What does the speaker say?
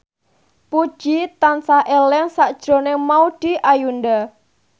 Puji tansah eling sakjroning Maudy Ayunda